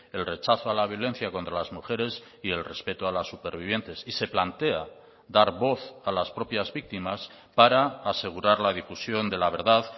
el rechazo a la violencia contra las mujeres y el respeto a las supervivientes y se plantea dar voz a las propias víctimas para asegurar la difusión de la verdad